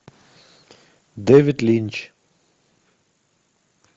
дэвид линч